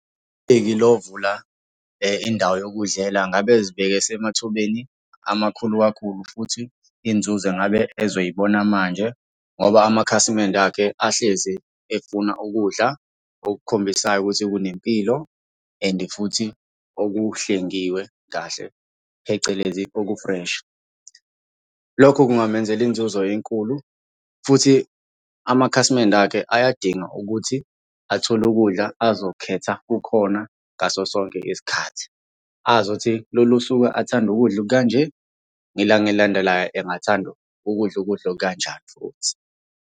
E-Illovo la indawo yokudlela ngabe uzibeke esemathubeni amakhulu kakhulu futhi inzuzo engabe ezoyibona manje ngoba amakhasimende akhe ahleze efuna ukudla okukhombisayo ukuthi kunempilo, and futhi okuhlengiwe kahle, phecelezi oku-fresh. Lokho kungamenzela inzuzo enkulu futhi amakhasimende akhe ayadinga ukuthi athole ukudla azokhetha kukhona ngaso sonke isikhathi. Azi ukuthi lolu suku athanda ukudla okukanje, ngelanga elilandelayo engathanda ukudla ukudla okukanjani futhi.